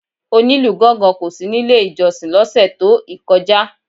Onílù gángan kò sí nílé ìjọsìn lọ́sẹ̀ tó ìkọjá.